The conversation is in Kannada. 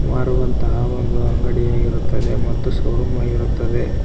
ಮಾರುವಂತಹ ಒಂದು ಅಂಗಡಿಯಾಗಿರುತ್ತದೆ ಮತ್ತು ಶೋರೂಮ್ ಆಗಿರುತ್ತದೆ.